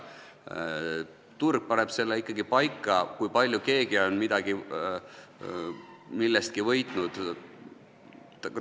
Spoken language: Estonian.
Turg paneb ikkagi paika selle, kui palju on keegi millestki võitnud.